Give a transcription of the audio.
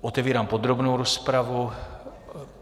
Otevírám podrobnou rozpravu.